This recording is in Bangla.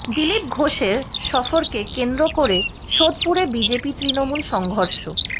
দিলীপ ঘোষের সফরকে কেন্দ্র করে সোদপুরে বিজেপি তৃণমূল সংঘর্ষ